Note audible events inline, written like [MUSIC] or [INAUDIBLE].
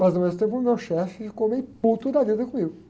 Mas, ao mesmo tempo, o meu chefe ficou meio [UNINTELLIGIBLE] da vida comigo.